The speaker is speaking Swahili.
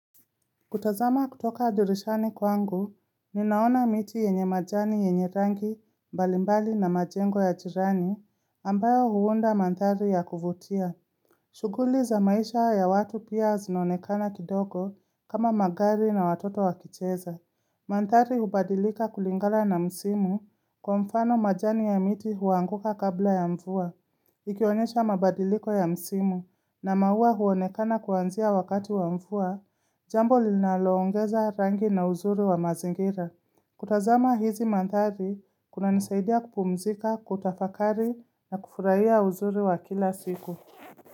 Kutazama kutoka dirishani kwangu, ninaona miti yenye majani yenye rangi, mbalimbali na majengo ya jirani, ambayo huunda manthari ya kuvutia. Shughuli za maisha ya watu pia zinaonekana kidogo kama magari na watoto wakicheza. Mandhari hubadilika kulingana na msimu, kwa mfano majani ya miti huanguka kabla ya mvua. Ikionyesha mabadiliko ya msimu na maua huonekana kuanzia wakati wa mvua, jambo linaloongeza rangi na uzuri wa mazingira. Kutazama hizi mandhari, kunanisaidia kupumzika, kutafakari na kufurahia uzuri wa kila siku.